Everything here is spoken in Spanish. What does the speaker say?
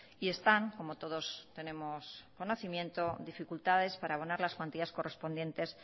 y están como todos tenemos conocimiento dificultades para abonar las cuantías correspondientes